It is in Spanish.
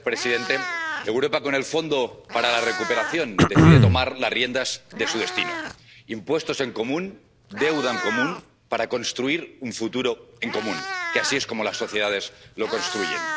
Señor presidente, Europa, con el fondo para la recuperación, decide tomar las riendas de su destino impuestos en común, deuda en común, para construir un futuro en común, que así es como las sociedades lo construyen.